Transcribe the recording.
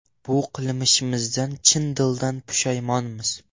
Bu qilmishimizdan chin dildan pushaymonmiz.